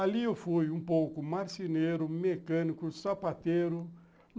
Ali eu fui um pouco marceneiro, mecânico, sapateiro.